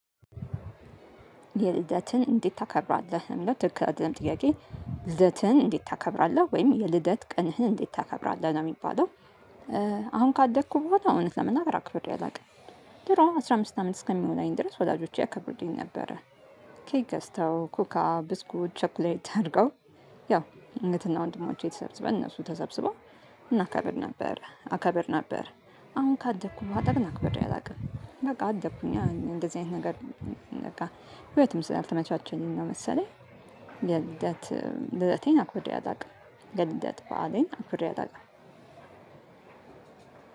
የልደትን እንዴት ታከብራለህ? እውነት ትክክል አይደለም ጥያቄ ልደትን እንዴት ታከብራለህ ወይም የልደት ቀንህን እንዴት ታከብራለህ? ነው የሚባለው። አሁን ካደግኩ በኋላ እውነት ለመናገር አክብሬ አላውቅም። አስራ አምስት አመት እስከሚሞላኝ ድረስ ወላጆቼ ያከብርሉኝ ነበር። ኬክ ገዝተው፣ ኮካ፣ ብስኩት፣ ቸኮሌት አድርገው። ያው እህትና ወንድሞቼ ተሰብስበን እነሱ ተሰብስበን እናከብር ነበር። አከብር ነበር አሁን ካደኩኝ አክበሬ አላውቅም በቃ አደኩኝ እንደዚህ አይነት ነገር በቃ ህይወትም ስላተማቻቸ ነው መሰለኝ ልደት ልደቴን አክብሬ አላውቅምም ልደት በዓሌን አክብሬ አላውቅም።